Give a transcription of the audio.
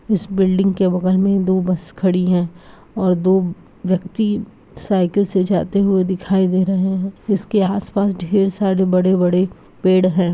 इस बिल्डिंग के बगल मे दो बस खड़ी है और दो व्यक्ति साइकिल से जाते हुए दिखाई दे रहे है इसके आस-पास ढेर सारे बड़े-बड़े पेड़ है।